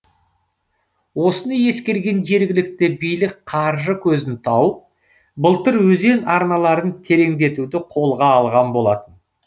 осыны ескерген жергілікті билік қаржы көзін тауып былтыр өзен арналарын тереңдетуді қолға алған болатын